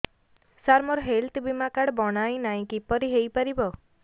ସାର ମୋର ହେଲ୍ଥ ବୀମା କାର୍ଡ ବଣାଇନାହିଁ କିପରି ହୈ ପାରିବ